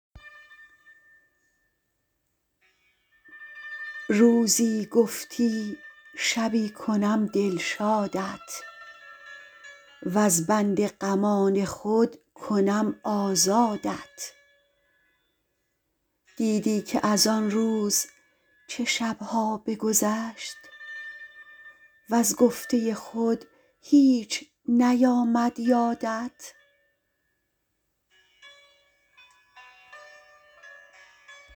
روزی گفتی شبی کنم دلشادت وز بند غمان خود کنم آزادت دیدی که از آن روز چه شب ها بگذشت وز گفته خود هیچ نیامد یادت